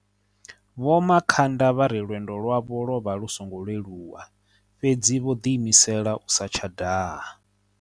Vho Makhanda vha ri lwe ndo lwavho lwo vha lu songo leluwa, fhedzi vho ḓiimisela u sa tsha daha.